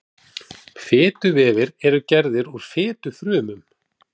Fituvefir eru gerðir úr fitufrumum.